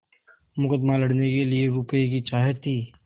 मुकदमा लड़ने के लिए रुपये की चाह थी